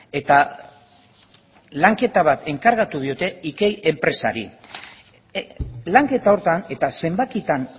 eta lanketa bat enkargatu diote ikei enpresari lanketa horretan eta zenbakitan